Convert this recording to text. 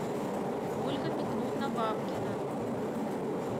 ольга петровна бабкина